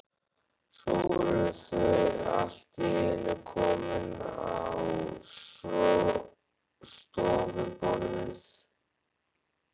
Svo voru þau allt í einu komin á stofuborðið.